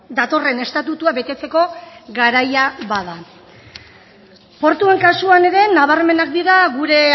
datorren estatutua betetzeko garaia da portuen kasuan ere nabarmenak dira gure